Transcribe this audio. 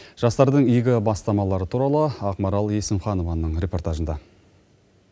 жастардың игі бастамалары туралы ақмарал есімханованың репортажында